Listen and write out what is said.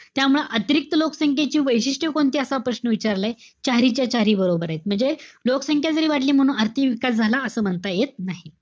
त्यामुळे अतिरिक्त लोकसंख्येची वैशिष्ट्य कोणती असा प्रश्न विचारलाय. चारीच्या चारी बरोबरेत. म्हणजे लोकसंख्या जरी वाढली म्हणून आर्थिक विकास झाला असं म्हणता येत नाही.